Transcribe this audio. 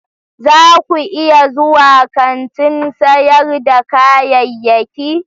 za ku iya zuwa kantin sayar da kayayyaki?